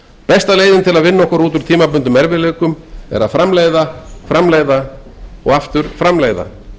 besta leiðin til að vinna okkur út úr tímabundnum erfiðleikum er að framleiða framleiða og aftur framleiða